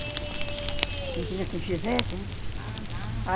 Não tinha quem fizesse, né?